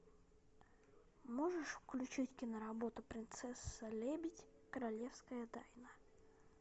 можешь включить киноработу принцесса лебедь королевская тайна